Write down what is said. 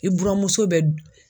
I buramuso bɛ